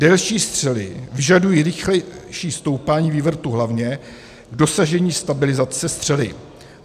Delší střely vyžadují rychlejší stoupání vývrtu hlavně k dosažení stabilizace střely.